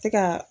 Tɛ ka